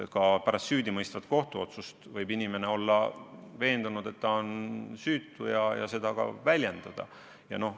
Ka pärast süüdimõistvat kohtuotsust võib inimene olla veendunud, et ta on süütu, ja seda ka väljendada.